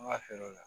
An ka feere la